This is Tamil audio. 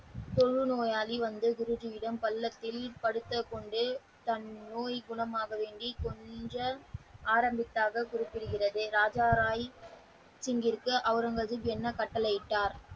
தொழு நோயாளி வந்து குருஜியிடம் பல்லாக்கில் படுத்து கொண்டு தனது நோய் குணமாக வேண்டி கொஞ்சம் ஆரம்பித்தார்கள் என்று குறிப்பிடுகிறது? ராஜா ராய் சிங் அவுரங்கசீப் என்ன கட்டளை இட்டார்?